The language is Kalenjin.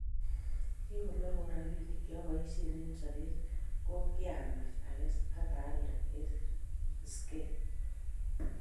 kingororwon robinik cheoboisien eng sobet, ko kiamech akes ak aalde eng skeet